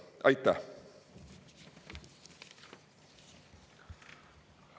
Aitäh!